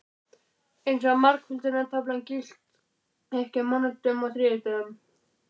Eins og margföldunartaflan gilti ekki á mánudögum og þriðjudögum.